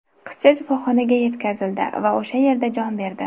Qizcha shifoxonaga yetkazildi va o‘sha yerda jon berdi.